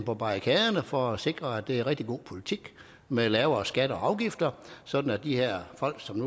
på barrikaderne for at sikre en rigtig god politik med lavere skatter og afgifter sådan at de her folk som